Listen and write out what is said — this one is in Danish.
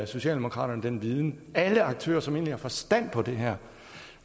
socialdemokraterne den viden alle aktører som egentlig har forstand på det her